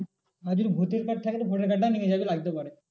আর যদি voter card থাকে তো voter card টাও নিয়ে যাবি লাগতে পারে।